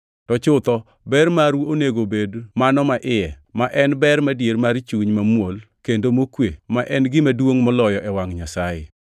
To chutho ber maru onego obed mano maiye, ma en ber madier mar chuny mamuol kendo mokwe ma en gima duongʼ moloyo e wangʼ Nyasaye.